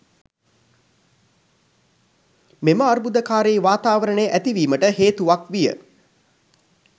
මෙම අර්බුදකාරී වාතාවරණය ඇතිවීමට හේතුවක් විය.